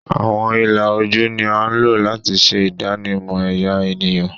Awọn ila oju ni a lo lati ṣe idanimọ ẹya eniyan